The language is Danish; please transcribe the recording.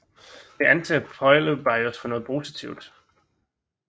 Det anser Polybios for noget positivt